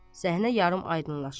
Səhnə yarımaydınlaşır.